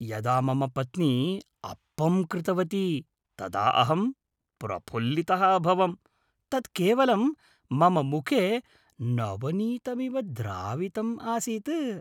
यदा मम पत्नी अप्पं कृतवती तदा अहं प्रफुल्लितः अभवम् । तत् केवलं मम मुखे नवनीतमिव द्रावितम् आसीत्।